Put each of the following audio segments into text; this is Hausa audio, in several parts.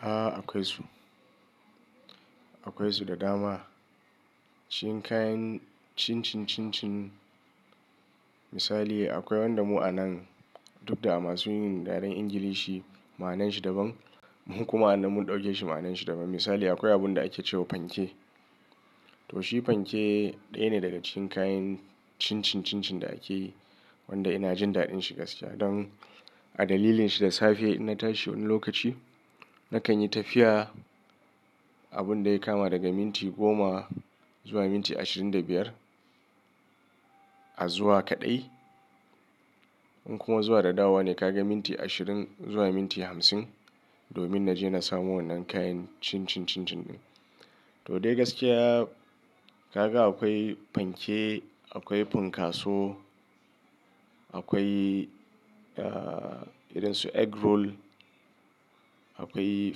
A akwai su, akwai su da dama. Cikin kayan chin-chin chin-chin. Misali akwai wanda mu a nan duk da a masu yin da daren Ingilishi ma'ananshi daban. Mun kuma anan mun ɗauke shi ma'ananshi daban. Misali akwai abun da ake cewa fanke. To shi fanke ɗaya ne daga cikin kayan chin chin chin chin da ake wanda ina jin daɗin shi gaskiya don a dalilin shi da safe ina tashi wani lokaci, na kan yi tafiya abun da ya kama daga minti goma zuwa minti ashirin da biyar a zuwa kaɗai. In kuma zuwa da dawowa ne ka ga minti ashirin zuwa minti hamsin. Domin na je na samo wannan kayan chin-chin chin-chin ɗin. Toh dai gaskiya ka ga akwai fanke, akwai funkaso, akwai irin su egg roll, akwai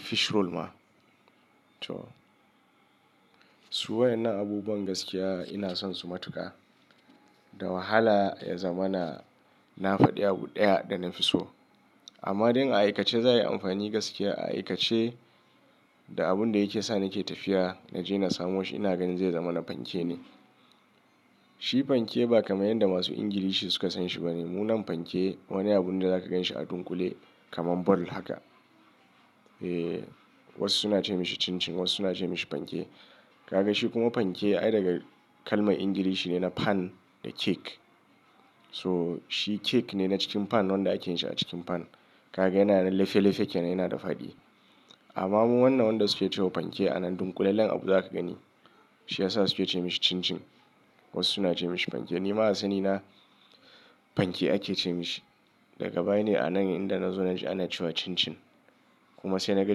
fish roll ma. To su wayan na abubuwan gaskiya ina son su matuƙa. Da wahala ya zama na, na faɗi abu ɗaya da na fi so. Amma don a aikace za'ayi amfani gaskiya a aikace da abun da yake sa ni ke tafiya na je na samu washe ina ganin zai zama na fanke ne. Shi fanke ba kamar yanda masu Ingilishi suka san shi ba ne. Mu nan fanke wani abun da za ka gan shi a dunƙule kaman ball haka. Eh wasu suna ce mashi chin-chin wasu na ce mashi fanke. Ka ga shi kuma fanke ai daga kalman Ingilishi ne na pan da cake. To shi cake ne na cikin pan wanda ake yin shi a cikin pan. Ka ga yana da leshe-leshe kenan yana da faɗi. Amma mu wannan wanda su ke cewa fanke a nan dunƙule lallen abu za ka gani. Shi ya sa su ke ce mashi chin-chin. Wasu suna ce mashi fanke. Ni ma a sanina fanke ake ce mashi. Daga baya ne a nan inda na zo na ji ana cewa chin-chin. Kuma sai na ga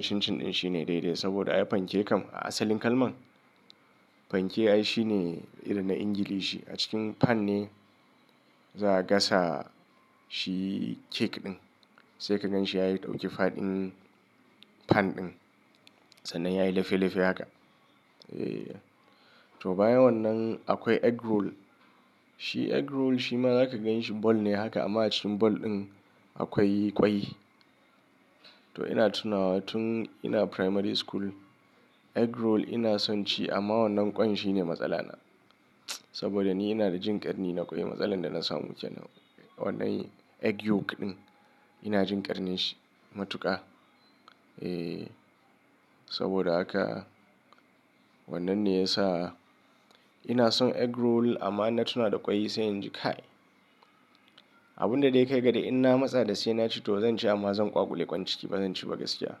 chin-chin ɗin shine dai-dai saboda ai fanke kam a asalin kalman fanke ai shi ne irin na Ingilishi. A cikin pan ne za a gasa shi cake ɗin. Sai ka gan shi ya yi ɗauke faɗin pan ɗin. Sannan ya yi lefe lefe haka. Eh to bayan wannan akwai egg roll. Shi egg roll shi ma za ka gan shi ball ne haka amma a cikin ball ɗin akwai ƙwai. To ina tuna tun ina primary school egg roll ina son ci amma wannan ƙwan shi ne matsala na. Saboda ni ina da jin ƙarni na ƙwai. Matsalar da na samu kenan. Wannan egg yolk ɗin ina jin ƙarni shi matuƙa. Eh saboda haka wannan ne ya sa ina son egg roll amma ina tuna da ƙwai sai in ji kai. Abun da dai kai ga dai ina matsa da sai ina ci to zan ci amma zan ƙwaƙule ƙwan ciki ba zan ci ba gaskiya.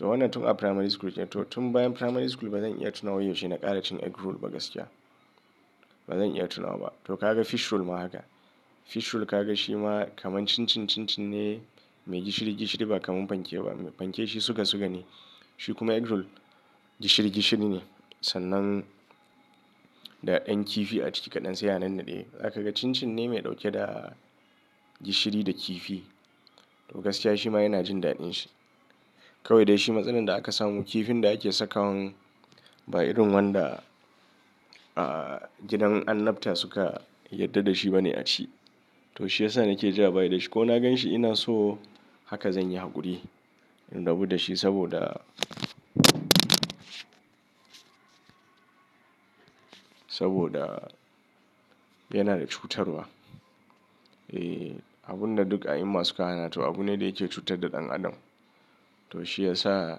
To wannan tun a primary school ce. To tun bayan primary school ba zan iya tuna wa yaushe na ƙara cin egg roll ba gaskiya. Ba zan iya tunawa ba. To ka ga fish roll ma haka. Fish roll ka ga shi ma kaman chin-chin chin-chin ne mai gishiri-gishiri ba kamar fanke ba. Fanke shi suga-suga ne. Shi kuma egg roll gishiri gishiri ne. Sannan da ƴan kifi a ciki kaɗan sai ya nanna ɗaya. Za ka ga chin chin ne mai ɗauke da gishiri da kifi. To gaskiya shi ma ina jin daɗin shi. Kawai dai shi matsalar da aka samu kifin da ake saka wan ba irin wanda a gidan annabta suka yarda da shi ba ne a ci. To shi ya sa na ke ja baya da shi ko na gan shi ina so haka zan yi hakuri in rabu da shi saboda saboda yana da cutarwa. Eh abun da duk a yi masu kanaya to abune dai yake cutar da ɗan adam. To shi ya sa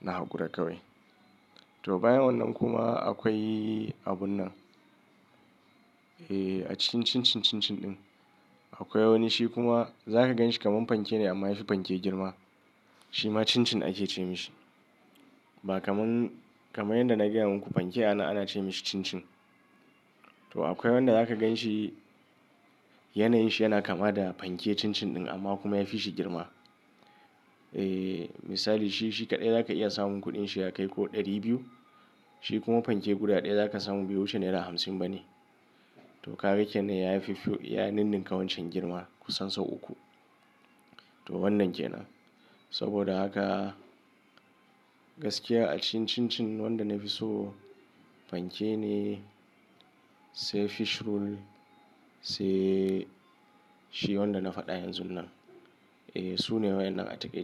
na hakura kawai. To bayan wannan kuma akwai abun nan. Eh a cikin chin chin chin chin ɗin akwai wani shi kuma za ka gan shi kaman fanke ne amma yafi fanke girma. Shi ma chin chin ake ce mashi. Ba kaman, kaman yanda na gaya muku fanke a nan ana ce mashi chin-chin. To akwai wanda za ka gan shi yanayin shi yana kama da fanke chin-chin ɗin amma kuma yafi shi girma. Eh misali shi, shi kaɗai za ka iya samun kuɗin shi ya kai ko ɗari biyu. Shi kuma fanke guda ɗaya za ka samu biyu wuce Naira hamsin ba ne. To ka ga kenan ya yi fifi, ya ninninka wancan girma kusan sau uku. To wannan ke nan. Saboda haka gaskiya a cikin chin-chin wanda na fi so fanke ne sai fish roll sai shi wanda na faɗa yanzun nan. Eh su ne wayan a taƙaice.